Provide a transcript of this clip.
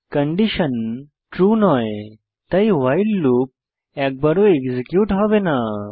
condition true নয় তাই while loop একবারও এক্সিকিউট হবে না